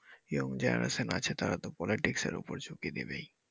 young generation আছে তারা তো politics এর উপর ঝুকি দিবেই।